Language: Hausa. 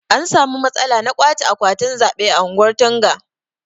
An samu matsala na ƙwache akwatin zaɓe a ungwan Tunga.